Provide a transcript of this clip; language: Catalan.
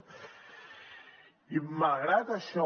i malgrat això